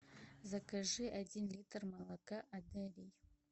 закажи один литр молока одари